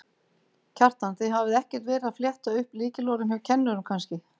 Kjartan: Þið hafið ekkert verið að fletta upp lykilorðum hjá kennurum kannski?